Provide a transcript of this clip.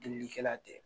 Delilikɛla tɛ